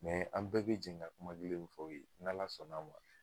an bɛɛ bɛ jɛn ka kuma kelen fɔ aw ye ni Ala sɔnna ma.